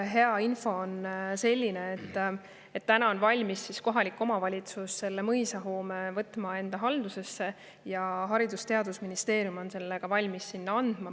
Hea info on selline, et kohalik omavalitsus on valmis võtma selle mõisahoone enda haldusesse ja Haridus- ja Teadusministeerium on valmis selle ka neile andma.